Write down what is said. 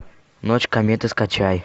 ночь кометы скачай